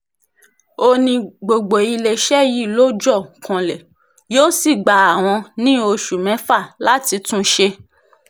ó ní gbogbo iléeṣẹ́ yìí ló jọ kanlẹ̀ yóò sì gba àwọn ní oṣù mẹ́fà láti tún un ṣe